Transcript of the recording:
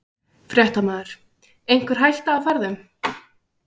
Fréttamaður: Einhver hætta á ferðum?